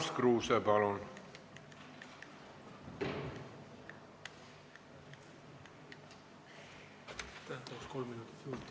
Urmas Kruuse, palun!